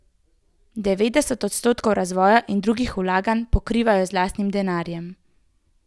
Devetdeset odstotkov razvoja in drugih vlaganj pokrivajo z lastnim denarjem.